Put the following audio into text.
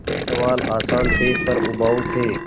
सवाल आसान थे पर उबाऊ थे